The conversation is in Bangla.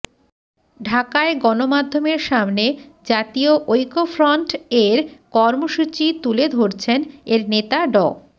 ঢাকায় গণমাধ্যমের সামনে জাতীয় ঐক্যফ্রন্ট এর কর্মসূচি তুলে ধরছেন এর নেতা ড